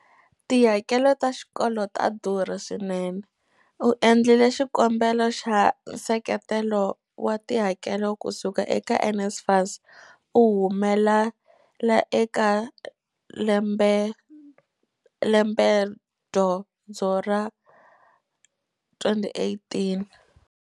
Tihakelo ta xikolo ta durha swinene. U endlile xikombelo xa nseketelo wa tihakelo kusuka eka NSFAS u humelela eka lembedyondzo ra 2018.